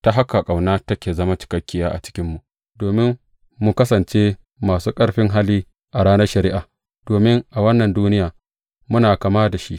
Ta haka, ƙauna ta zama cikakkiya a cikinmu domin mu kasance masu ƙarfin hali a ranar shari’a, domin a wannan duniya muna kama da shi.